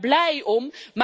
Ik ben daar blij om.